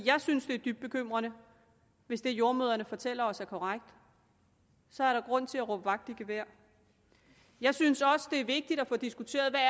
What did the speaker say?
jeg synes det er dybt bekymrende hvis det jordemødrene fortæller os er korrekt så er der grund til at råbe vagt i gevær jeg synes også det er vigtigt at få diskuteret hvad